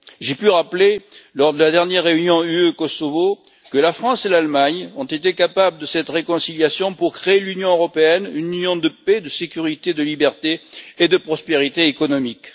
J'ai pu rappeler lors de la dernière réunion UE Kosovo que la France et l'Allemagne ont été capables de cette réconciliation pour créer l'Union européenne, une union de paix, de sécurité, de liberté et de prospérité économique.